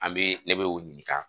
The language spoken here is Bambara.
An bɛ ne bɛ o ɲininka